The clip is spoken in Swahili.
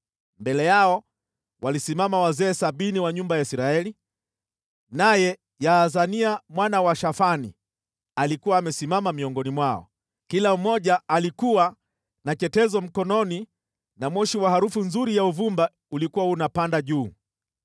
Mbele yao walisimama wazee sabini wa nyumba ya Israeli, naye Yaazania mwana wa Shafani alikuwa amesimama miongoni mwao. Kila mmoja alikuwa na chetezo mkononi na moshi wa harufu nzuri ya uvumba ulikuwa unapanda juu.